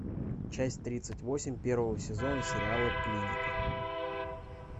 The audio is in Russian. часть тридцать восемь первого сезона сериала клиника